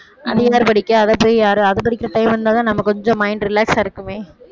அது யாரு படிக்க அதை போய் யாரு அது படிக்க டைம் இருந்தாதான் நம்ம கொஞ்சம் mind relax ஆ இருக்குமே